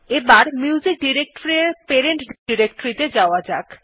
এখন music directory এর parent directory ত়ে যাওয়া যাক